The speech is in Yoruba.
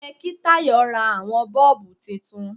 Ó yẹ kí Tayo ra àwọn bọ́ọ̀bù titun.